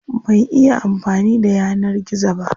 Ban iya amfani da yanar gizo ba.